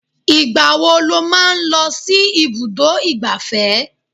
Ìgbà wo lo máa ń lọ sí ibùdó ìgbáfẹ́?